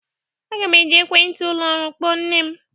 Aga m eji ekwentị ụlọ ọrụ kpọọ nne m